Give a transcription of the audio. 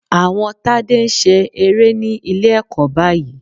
Àwọn Tádé ń ṣe eré ní Ilé-ẹ̀kọ́ báyìí